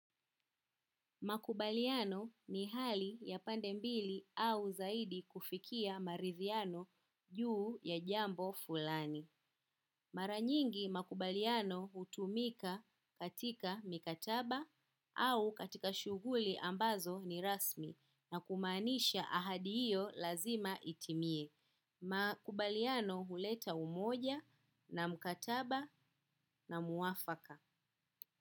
Makubaliano ni hali ya pande mbili au zaidi kufikia marithiano juu ya jambo fulani. Mara nyingi makubaliano hutumika katika mikataba au katika shuguli ambazo ni rasmi na kumaanisha ahadi iyo lazima itimie. Makubaliano huleta umoja na mkataba na muafaka.